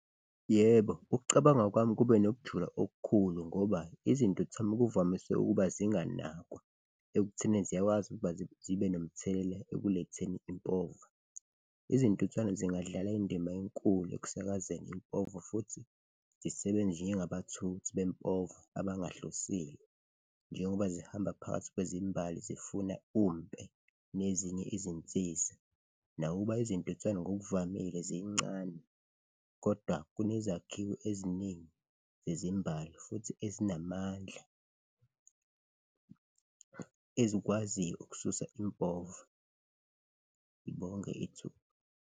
Yebo, ukucabanga kwami kube nokujula okukhulu ngoba izintuthwane kuvamise ukuba zinganakwa ekutheni ziyakwazi ukuba zibe nomthelela ekuletheni impova. Izintuthwane zingadlala indima enkulu ekusakazeni impova futhi zisebenze njengabathuthi bempova abangahlosile njengoba zihamba phakathi kwezimbali zifuna umpe nezinye izinsiza. Nakuba izintuthwane ngokuvamile zincane kodwa kunezakhiwo eziningi zezimbali futhi ezinamandla ezikwaziyo ukususa impova. Ngibonge ithuba.